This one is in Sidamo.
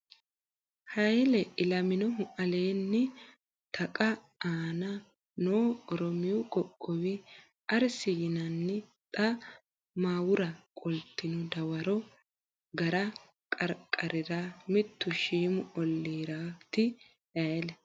Hayle Ilaminohu Aleenni taqa aana noo Oromiyu qoqqowi Arsi yinanni xa muwara qoltino dawaro gara qarqarira mittu shiimu olliiraati Hayle.